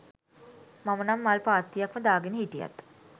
මම නම් මල් පාත්තියක්ම දාගෙන හිටියත්